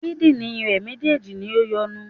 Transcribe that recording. Kídìnrín rè méjèèjì ni o yọnu